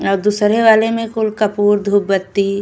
और दूसरे वाले में कुल कपूर धुप बत्ती --